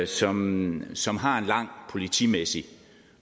som som har en lang politimæssig